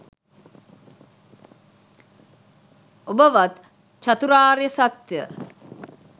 ඔබත් චතුරාර්ය සත්‍යය